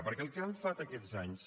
perquè el que han fet aquests anys